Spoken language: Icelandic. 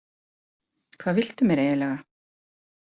Hvað viltu mér eiginlega?